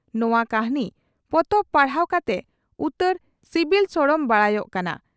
ᱱᱚᱣᱟ ᱠᱟᱹᱦᱱᱤ ᱯᱚᱛᱚᱵ ᱯᱟᱲᱦᱟᱣ ᱠᱟᱛᱮ ᱩᱛᱟᱹᱨ ᱥᱤᱵᱤᱞ ᱥᱚᱲᱚᱢ ᱵᱟᱰᱟᱭᱚᱜ ᱠᱟᱱᱟ ᱾